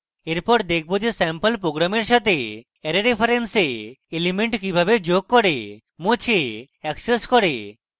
এরপর দেখবো যে স্যাম্পল program সাথে অ্যারে reference elements কিভাবে যোগ করে মোছে অ্যাক্সেস করে